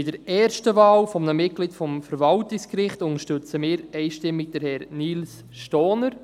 Bei der ersten Wahl eines Mitglieds des Verwaltungsgerichts unterstützen wir einstimmig Herrn Nils Stohner.